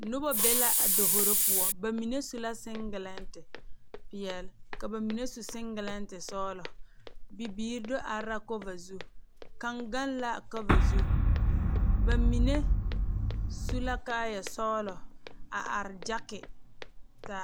Noba be la a davoro poɔ ba mine su la siŋgelɛnte peɛlle ka ba mine su siŋgelɛnte sɔglɔ bibiiri do are la kɔva zu kaŋ gaŋ la kɔva zu ba mine su la kaayasɔglɔ a are gyaki ka.